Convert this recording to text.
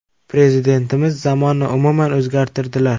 Prezidentimiz zamonni umuman o‘zgartirdilar.